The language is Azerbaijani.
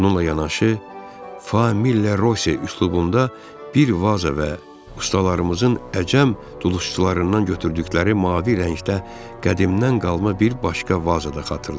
Onunla yanaşı, Famille Rose üslubunda bir vaza və ustalarımızın əcəm dulusçularından götürdükləri mavi rəngdə qədimdən qalma bir başqa vaza da xatırlayıram.